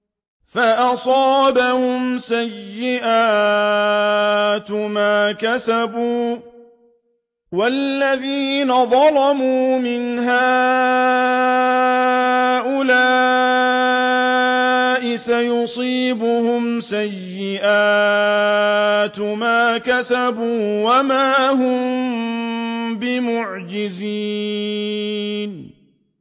فَأَصَابَهُمْ سَيِّئَاتُ مَا كَسَبُوا ۚ وَالَّذِينَ ظَلَمُوا مِنْ هَٰؤُلَاءِ سَيُصِيبُهُمْ سَيِّئَاتُ مَا كَسَبُوا وَمَا هُم بِمُعْجِزِينَ